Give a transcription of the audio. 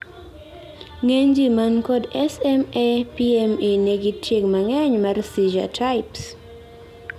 ng'eny jii mankod SMA-PME nigi tieng' mang'eny mar seizure types